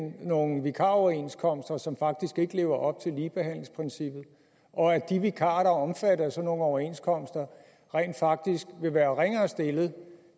nogle vikaroverenskomster som faktisk ikke lever op til ligebehandlingsprincippet og at de vikarer der er omfattet af sådan nogle overenskomster rent faktisk vil være ringere stillet